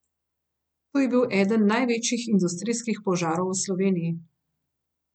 To je bil eden največjih industrijskih požarov v Sloveniji.